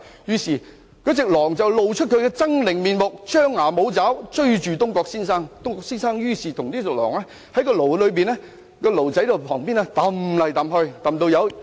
這時候，狼露出了猙獰的面目，張牙舞爪，追着東郭先生，雙方圍繞着驢子旁邊的籃子追逐。